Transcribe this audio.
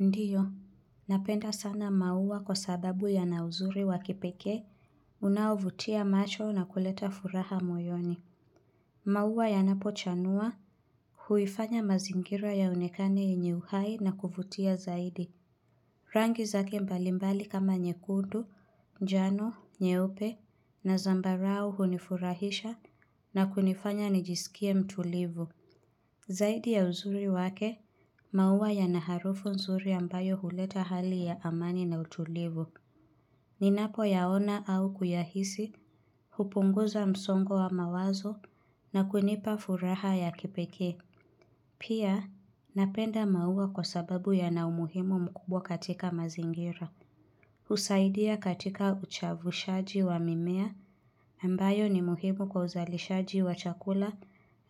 Ndiyo, napenda sana maua kwa sababu yana uzuri wa kipekee. Unaovutia macho na kuleta furaha moyoni. Maua yanapochanua. Huifanya mazingira yaonekane yenye uhai na kuvutia zaidi. Rangi zake mbalimbali kama nyekundu, njano, nyeupe na zambarau. Hunifurahisha na kunifanya nijisikie mtulivu. Zaidi ya uzuri wake. Maua yana harufu nzuri ambayo huleta hali ya amani na utulivu. Ninapoyaona au kuyahisi. Hupunguza msongo wa mawazo na kunipa furaha ya kipekee. Pia, napenda maua kwa sababu yana umuhimu mkubwa katika mazingira. Husaidia katika uchavushaji wa mimea, ambayo ni muhimu kwa uzalishaji wa chakula,